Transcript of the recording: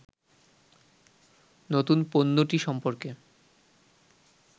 নতুন পণ্যটি সম্পর্কে